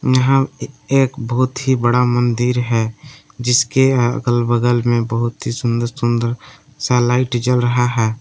यहां ए एक बहोत ही बड़ा मंदिर है जिसके अगल बगल में बहोत ही सुंदर सुंदर सा लाइट जल रहा है।